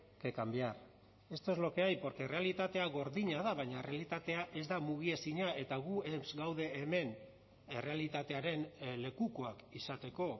que cambiar esto es lo que hay porque errealitatea gordina da baina errealitatea ez da mugiezina eta gu ez gaude hemen errealitatearen lekukoak izateko